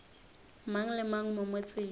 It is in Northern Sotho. mang le mang mo motseng